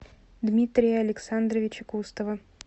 дмитрия александровича кустова